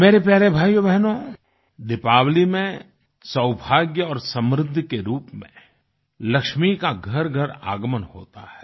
मेरे प्यारे भाइयोबहनो दीपावली में सौभाग्य और समृद्धि के रूप में लक्ष्मी का घरघर आगमन होता है